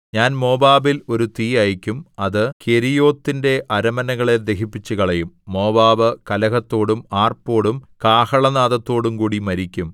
ഞാൻ മോവാബിൽ ഒരു തീ അയയ്ക്കും അത് കെരീയോത്തിന്റെ അരമനകളെ ദഹിപ്പിച്ചുകളയും മോവാബ് കലഹത്തോടും ആർപ്പോടും കാഹളനാദത്തോടുംകൂടി മരിക്കും